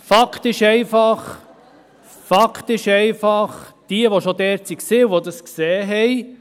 Fakt ist einfach: Diejenigen, die schon dort waren und es gesehen haben …